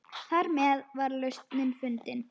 Þarmeð var lausnin fundin.